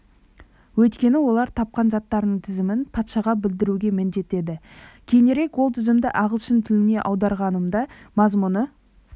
өйткені олар тапқан заттарының тізімін патшаға білдіруге міндетті еді кейінірек ол тізімді ағылшын тіліне аударғанымда мазмұны